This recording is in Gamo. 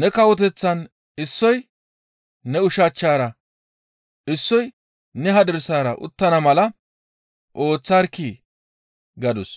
ne kawoteththaan issoy ne ushachchara, issoy ne hadirsara uttana mala ooththarkkii!» gadus.